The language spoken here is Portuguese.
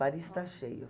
Paris está cheio.